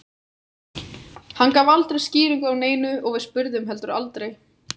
Hann gaf aldrei skýringu á neinu og við spurðum heldur aldrei.